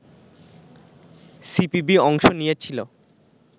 CPB অংশ নিয়েছিলো